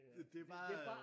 Det det bare